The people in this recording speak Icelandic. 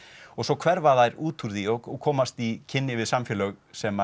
og svo hverfa þær út úr því og komast í kynni við samfélög sem